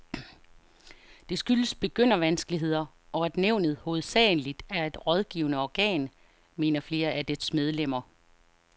Det skyldes begyndervanskeligheder, og at nævnet hovedsageligt er et rådgivende organ, mener flere af dets medlemmer.